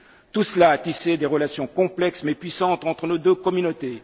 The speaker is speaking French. Tout cela a tissé des relations complexes, mais puissantes, entre deux communautés.